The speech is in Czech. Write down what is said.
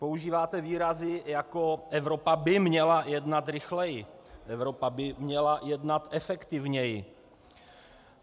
Používáte výrazy jako: Evropa by měla jednat rychleji, Evropa by měla jednat efektivněji.